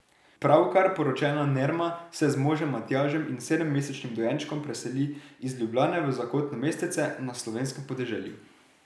Pravkar poročena Nerma se z možem Matjažem in sedemmesečnim dojenčkom preseli iz Ljubljane v zakotno mestece na slovenskem podeželju.